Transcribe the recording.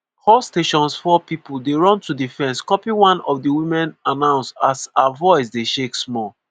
“all stations four pipo dey run to di fence copy” one of di women announce as her voice dey shake small.